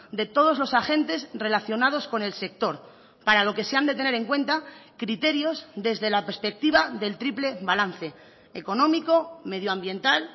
de todos los agentes relacionados con el sector para lo que se han de tener en cuenta criterios desde la perspectiva del triple balance económico medioambiental